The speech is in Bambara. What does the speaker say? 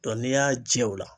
n'i y'a jɛ u la